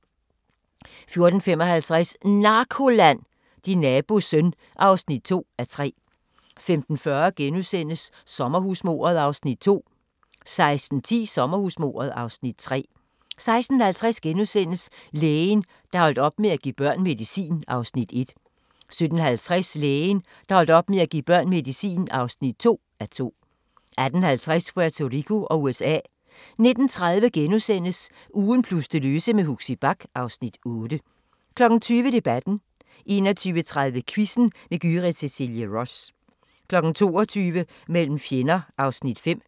14:55: NARKOLAND – Din nabos søn (2:3) 15:40: Sommerhusmordet (Afs. 2)* 16:10: Sommerhusmordet (Afs. 3) 16:50: Lægen, der holdt op med at give børn medicin (1:2)* 17:50: Lægen, der holdt op med at give børn medicin (2:2) 18:50: Puerto Rico og USA 19:30: Ugen plus det løse med Huxi Bach (Afs. 8)* 20:00: Debatten 21:30: Quizzen med Gyrith Cecilie Ross 22:00: Mellem fjender (Afs. 5)